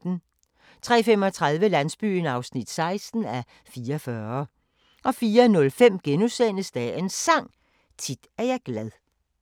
03:35: Landsbyen (16:44) 04:05: Dagens Sang: Tit er jeg glad *